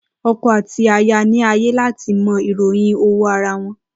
Oko àti aya ni ààyè láti mọ ìròyìn owó ara wọn